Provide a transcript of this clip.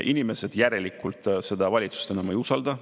Inimesed järelikult seda valitsust enam ei usalda.